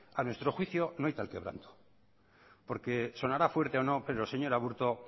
a nuestro juicio no hay tal quebranto porque sonará fuerte o no pero señor aburto